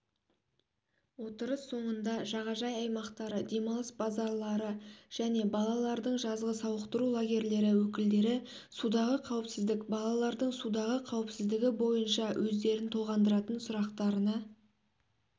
отырыс соңында жағажай аймақтары демалыс базалары және балалардың жазғы сауықтыру лагерлері өкілдері судағы қауіпсіздік балалардың судағы қауіпсіздігі бойынша өздерін толғандыратын сұрақтарына